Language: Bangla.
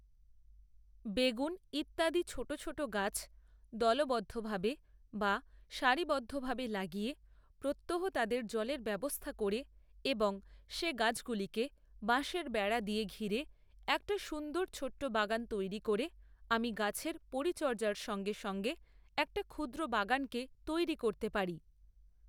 বেগুন ইত্যাদি ছোটো ছোটো গাছ দলবদ্ধভাবে বা সারিবদ্ধভাবে লাগিয়ে প্রত্যহ তাদের জলের ব্যবস্থা করে এবং সে গাছগুলিকে বাঁশের বেড়া দিয়ে ঘিরে একটা সুন্দর ছোট্ট বাগান তৈরি করে আমি গাছের পরিচর্যার সঙ্গে সঙ্গে একটা ক্ষুদ্র বাগানকে তৈরি করতে পারি